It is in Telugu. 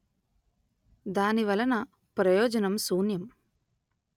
దాని వలన ప్రయోజనం శూన్యం